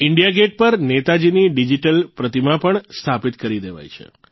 India gate પર નેતાજીની digital પ્રતિમા પણ સ્થાપિત કરી દેવાઇ છે